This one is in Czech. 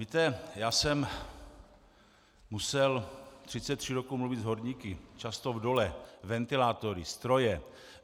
Víte, já jsem musel 33 roků mluvit s horníky, často v dolech, ventilátory, stroje.